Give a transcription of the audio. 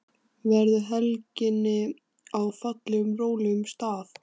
Verðu helginni á fallegum og rólegum stað.